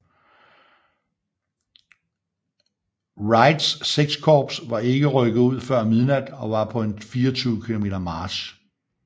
Wrights VI Korps var ikke rykket ud før midnat og var på en 24 km march